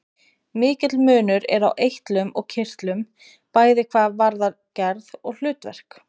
Mikill munur er á eitlum og kirtlum, bæði hvað varðar gerð og hlutverk.